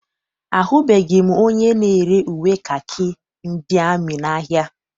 Ahụbeghị m onye na-ere uwe kakị ndị amị n'ahia.